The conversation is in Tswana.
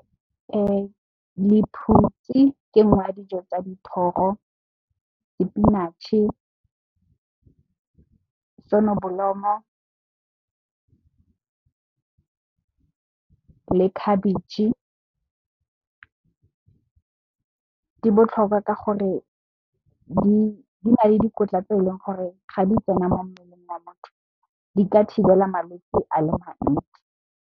Lephutsi ke nngwe ya dijo tsa dithoro, sepenatšhe, sonobolomo le khabetšhe. Di botlhokwa ka gore di na le dikotla tse e leng gore ga di tsena mo mmeleng wa motho di ka thibela malwetsi a le mantsi.